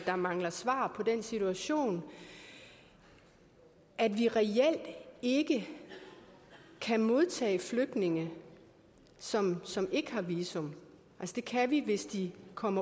der mangler svar på den situation at vi reelt ikke kan modtage flygtninge som som ikke har visum det kan vi hvis de kommer